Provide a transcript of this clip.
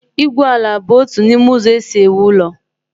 igwu ala bụ otu n'ime ụzọ e si ewu ụlọ